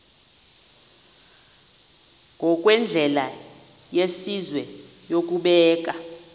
ngokwendlela yesizwe yokubeka